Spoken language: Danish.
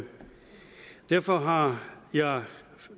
derfor har jeg